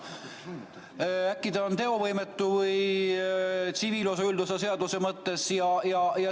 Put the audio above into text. Äkki ta on teovõimetu tsiviilseadustiku üldosa seaduse mõttes.